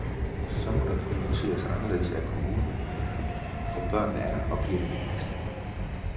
Så må der prioriteres anderledes af kommunen, for børnene er og bliver det vigtigste.